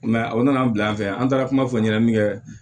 o nana bila an fɛ yan an taara kuma fɔ ɲɛnamini kɛ